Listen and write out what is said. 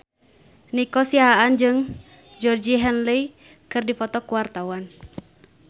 Nico Siahaan jeung Georgie Henley keur dipoto ku wartawan